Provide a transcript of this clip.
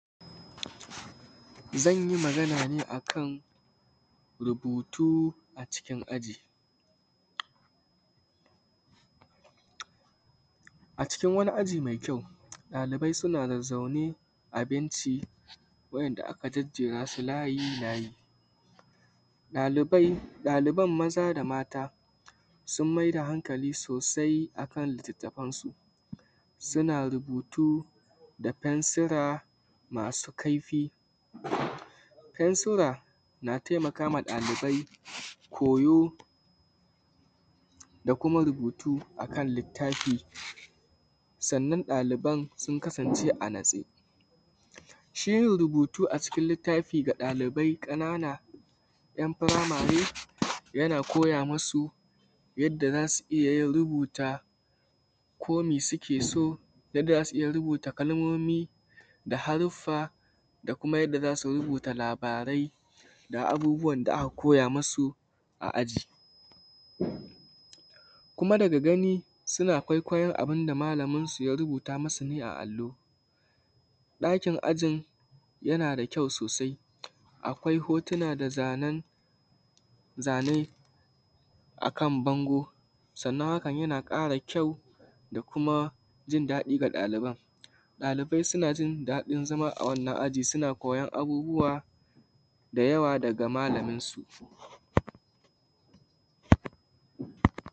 Zanyi magana akan rubutu a cikin aji. A cikin wani aji mai kyau ɗalibai suna zazzaune abinci wanda aka jerasu layi layi, ɗalibai, ɗaliban maza da mata sun maida hankali sosai kan littattafansu suna rubutu da fensira masu kaifi. Fensura na taimakawa ɗalibai koyo da kuma rubutu kan littafi, sannan ɗaliban sun kasance a natse. Shiyin rubutu a cikin littafi ga ɗalibai ƙanana ‘yan’ furamare yana koya masu yadda zasu iyyayin rubuta kome suke so, yadda zasu iyya rubuta kalmomi da haruffa da kuma yanda zasu rubuta labarai da abubuwan da aka koya masu a aji. Kuma daga gani suna kwaikwayon abunda malaminsu ya rubuta masu ne a allo, ɗakin ajin yanada kyau sosai akwai hotuna da zane zane akan bango, sannan hakan yana ƙara kyau da kuma jin daɗi ga ɗaliban. ɗalibai sunajin zama awannan aji suna koyon abubuwa da yawa daga malaminsu